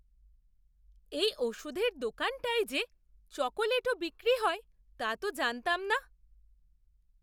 এই ওষুধের দোকানটায় যে চকোলেটও বিক্রি হয় তা তো জানতাম না!